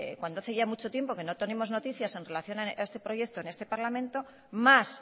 cuando hace ya mucho tiempo que no tenemos noticias en relación a este proyecto en este parlamento mas